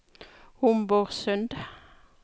Homborsund